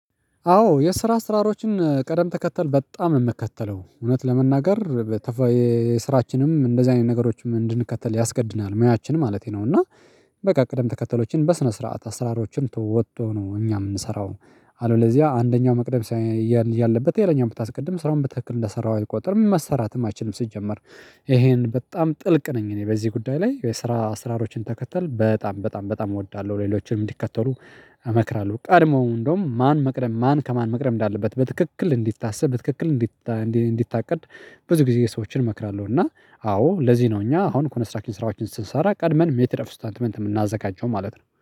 አዎ የስራ ስራሮችን ቅደም ተከተል በጣም ነው የምከተለው እውነት ለመናገር። የስራችንም እንደዚህ አይነት ነገሮችን እንድንከተል ያስገድደናል ሙያችን ማለቴ ነው። እና በቃ ቅደም ተከተሎችን በስነ ስርዓት አስራሮችን ተወጥቶ ነው እኛ የምንሰራው። አለበለዚያ አንደኛው መቅደም ያለበት ሌላኛውን ብታስቀድም ስራውን ብትክል እንደሰራህው አይቆጥርም መሰራትም አይችልም። ስትጀምር ይሄን በጣም ጥልቅ ነኝ እኔ በዚህ ጉዳይ ላይ የስራ አስራሮችን ተከተል በጣም በጣም በጣም እወዳለሁ። ሌሎችንም እንዲከተሉ እመክራለሁ። ቀድሞው እንደውም ማን መቅደም ማን ከማን መቅደም እንዳለበት በትክክል እንዲታሰብ በትክክል እንዲታቀድ ብዙ ጊዜ ሰዎችን እመክራለሁ። እና አዎ ለዚህ ነው እኛ አሁን ኮነስትራክሽን ስራዎችን ስንሰራ ቀድመን ሜትር ኦፍ ስታንትመንት የምናዘጋጀው ማለት ነው